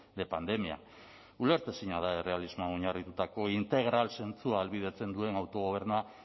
de pandemia ulertezina da errealismoa oinarritutako integral zentzu ahalbidetzen duen autogobernua